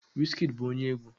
Wizkid bụ onye egwu